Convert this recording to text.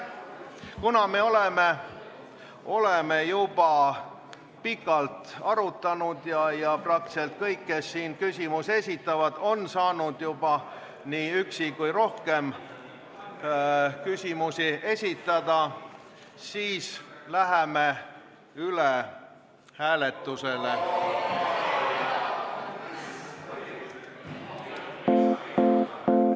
Kuna me oleme juba pikalt arutanud ja praktiliselt kõik, kes siin küsimusi esitavad, on saanud juba kas ühe küsimuse või rohkem esitada, siis läheme üle hääletusele.